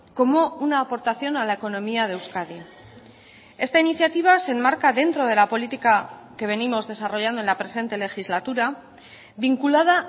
como una aportación a la economía de euskadi esta iniciativa se enmarca dentro de la política que venimos desarrollando en la presente legislatura vinculada